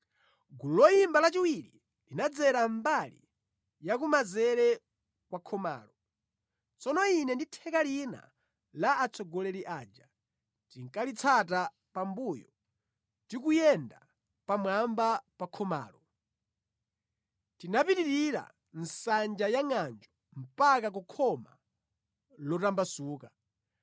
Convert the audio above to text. Gulu loyimba lachiwiri linadzera mbali ya kumanzere kwa khomalo. Tsono ine ndi theka lina la atsogoleri aja tinkalitsata pambuyo tikuyenda pamwamba pa khomalo. Tinapitirira Nsanja ya Ngʼanjo mpaka ku Khoma Lotambasuka.